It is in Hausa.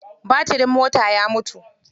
Batirin motar ya mutu.